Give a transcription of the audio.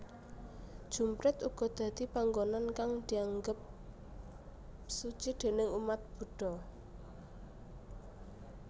Jumprit uga dadi panggonan kang dianggep suci déning umat Budha